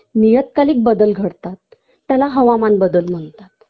नियत्कालिक बदल घडतात त्याला हवामान बदल म्हणतात